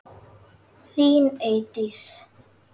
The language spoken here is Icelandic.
Þín Eydís.